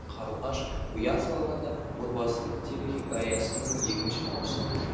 қарлығаш ұя салғанда отбасылық телехикаясының екінші маусымы